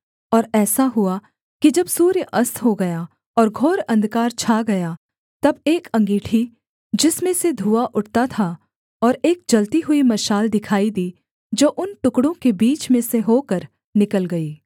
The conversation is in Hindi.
और ऐसा हुआ कि जब सूर्य अस्त हो गया और घोर अंधकार छा गया तब एक अँगीठी जिसमें से धुआँ उठता था और एक जलती हुई मशाल दिखाई दी जो उन टुकड़ों के बीच में से होकर निकल गई